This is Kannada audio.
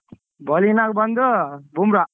Bowling ನಾಗ ಬಂದು ಬುಮ್ರಾ.